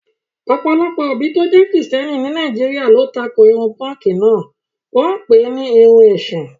ọ̀pọ̀lọpọ̀ òbí tó jẹ́ Kìrìsìtẹ́ẹ́nì ní Nàìjíríà ló tako irun pọ́ǹkì náà, wọ́n pè é ní irun èṣù.